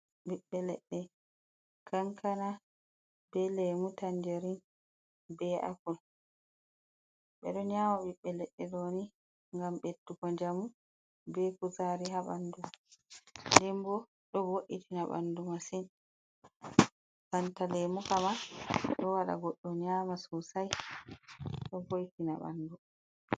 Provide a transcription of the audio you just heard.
Ɓiɓɓe leɗɗe: kankana be lemu tanjarin be appul. Ɓeɗo nyama ɓiɓɓe leɗɗe ɗo ni ngam ɓeddugo njamu be kuzari ha ɓandu. Nden bo ɗo vo’itina ɓandu masin banta lemu kam ma ɗo waɗa goɗɗo nyama sosai ɗo vo'itina ɓandu.